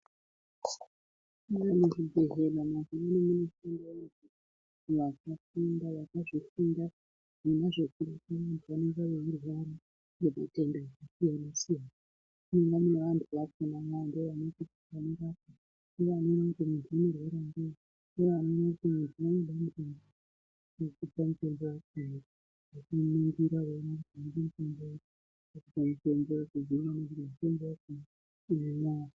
Muzvibhedhlera mazuwaano mune vanthu vakazvifunda zvona zvekuringira vanorwara nezvit3nda zvakasiyana siyana .......